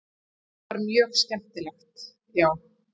Þetta var mjög skemmtilegt já.